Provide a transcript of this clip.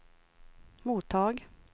mottag